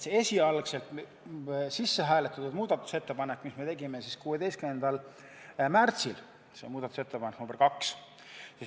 Esialgu sisse hääletatud muudatusettepanek, mille me tegime 16. märtsil, oli muudatusettepanek nr 2.